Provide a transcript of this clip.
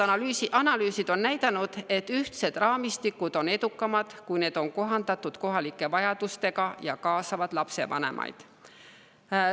Analüüsid on näidanud, et ühtsed raamistikud on edukamad, kui need on kohandatud kohalike vajadustega ja kaasavad lapsevanemaid.